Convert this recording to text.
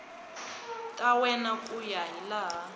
ta wena ku ya hilaha